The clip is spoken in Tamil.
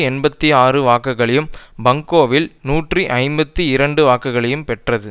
எண்பத்தி ஆறு வாக்குகளையும் பங்கோவில் நூற்றி ஐம்பத்தி இரண்டு வாக்குகளையும் பெற்றது